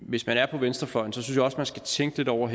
hvis man er på venstrefløjen skal tænke lidt over